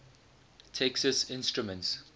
texas instruments